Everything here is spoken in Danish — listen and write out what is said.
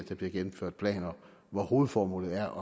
bliver gennemført planer hvor hovedformålet er